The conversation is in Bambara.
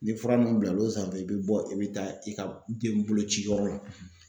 Ni fura ninnu bilal'o sanfɛ i bɛ bɔ i bɛ taa i ka den bolo ci yɔrɔ la